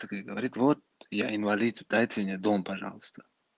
так ей говорит вот я инвалид дайте мне дом пожалуйста